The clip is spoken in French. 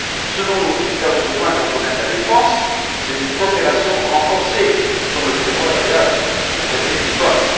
Ce dont nous avons besoin dans le domaine de la défense, c'est d'une coopération renforcée, comme le prévoit d'ailleurs le traité de Lisbonne.